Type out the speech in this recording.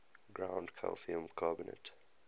ground calcium carbonate